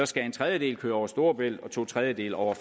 skal en tredjedel køre over storebælt og to tredjedele over